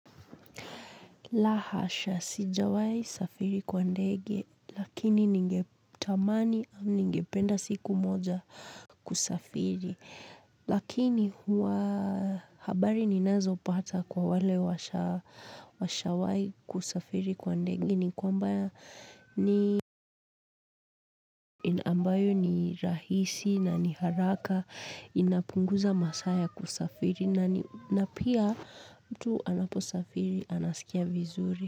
La hasha, sijawahi kusafiri kwa ndege, lakini ningetamani, ningependa siku moja kusafiri, lakini huwa habari ninazopata kwa wale washawahi kusafiri kwa ndege ni kwamba ni ambayo ni rahisi na ni haraka, inapunguza masaa ya kusafiri na pia mtu anaposafiri, anasikia vizuri.